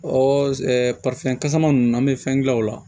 Ɔ ɛ fɛn kasaman nunnu an bɛ fɛn gilan o la